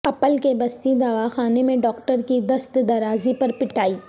اپل کے بستی دواخانہ میں ڈاکٹر کی دست درازی پر پٹائی